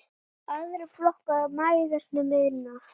Aðrir flokkar mælast með minna.